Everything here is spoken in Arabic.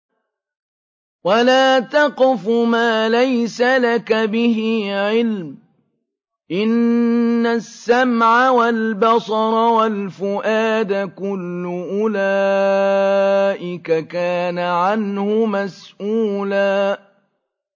وَلَا تَقْفُ مَا لَيْسَ لَكَ بِهِ عِلْمٌ ۚ إِنَّ السَّمْعَ وَالْبَصَرَ وَالْفُؤَادَ كُلُّ أُولَٰئِكَ كَانَ عَنْهُ مَسْئُولًا